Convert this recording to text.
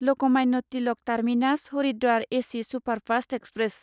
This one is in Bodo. Lokmanya Tilak terminus Haridwar AC superfast express